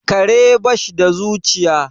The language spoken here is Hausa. kare ba sh da zuciya